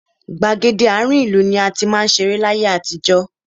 Gbàgede àárín ìlú ni a ti máa ń ṣeré láyé àtijọ́.